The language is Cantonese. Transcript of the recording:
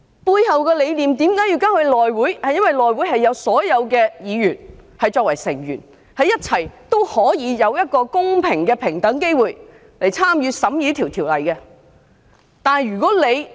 這項程序背後的理念是基於所有議員都是內會委員，可以有公平、平等的機會，一起參與審議條例草案。